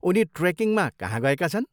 उनी ट्रेकिङमा कहाँ गएका छन्?